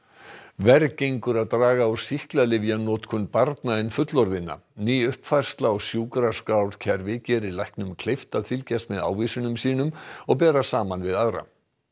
verr gengur að draga úr sýklalyfjanotkun barna en fullorðinna ný uppfærsla á sjúkraskrárkerfi gerir læknum kleift að fylgjast með ávísunum sínum og bera saman við aðra